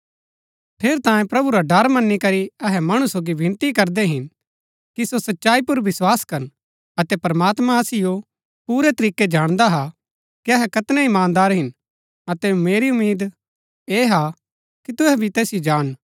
ठेरैतांये प्रभु रा डर मनी करी अहै मणु सोगी विनती करदै हिन कि सो सच्चाई पुर विस्वास करन अतै प्रमात्मां असिओ पूरै तरीकै जाणदा हा कि अहै कैतनै ईमानदार हिन अतै मेरी उम्मीद ऐह हा कि तुहै भी तैसिओ जाणन